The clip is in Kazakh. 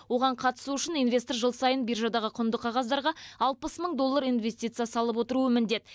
оған қатысу үшін инвестор жыл сайын биржадағы құнды қағаздарға алпыс мың доллар инвестиция салып отыруы міндет